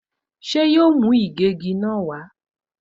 Ṣé yóò mú ìgégi náà wá?